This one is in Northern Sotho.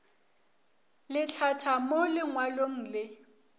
le hlatha mo lengwalong le